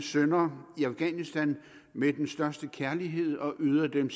sønner i afghanistan med den største kærlighed og yder dem